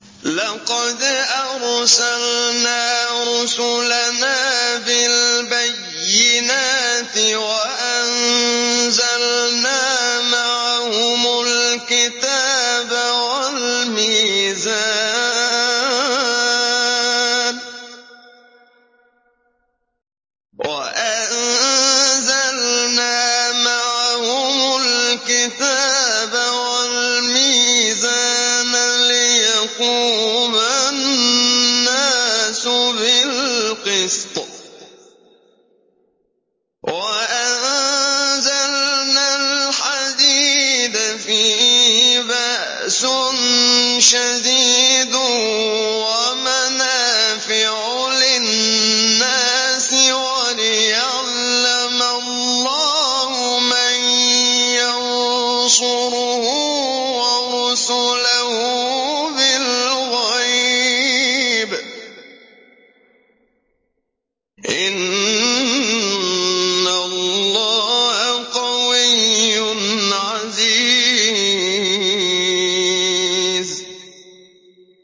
لَقَدْ أَرْسَلْنَا رُسُلَنَا بِالْبَيِّنَاتِ وَأَنزَلْنَا مَعَهُمُ الْكِتَابَ وَالْمِيزَانَ لِيَقُومَ النَّاسُ بِالْقِسْطِ ۖ وَأَنزَلْنَا الْحَدِيدَ فِيهِ بَأْسٌ شَدِيدٌ وَمَنَافِعُ لِلنَّاسِ وَلِيَعْلَمَ اللَّهُ مَن يَنصُرُهُ وَرُسُلَهُ بِالْغَيْبِ ۚ إِنَّ اللَّهَ قَوِيٌّ عَزِيزٌ